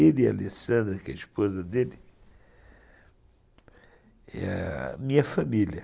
Ele e a Alessandra, que é a esposa dele, é a minha família.